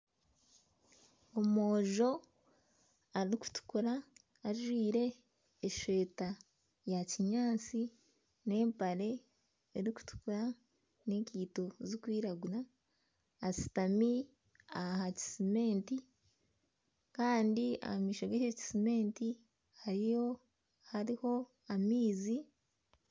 Omwojo arikutukura ajwire eshweta ya kinyaatsi n'empare erikutukura n'enkeito ziri kwiragura ashutami aha kisementi kandi omu maisho g'ekyo kisementi hariho amaizi.